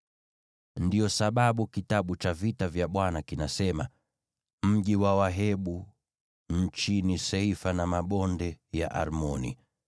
Ndiyo sababu Kitabu cha Vita vya Bwana kinasema: “…Mji wa Wahebu nchini Seifa na mabonde ya Arnoni,